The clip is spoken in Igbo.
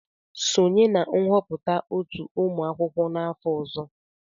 Sonye na nhọpụta otu ụmụ akwụkwọ n'afọ ọzọ!.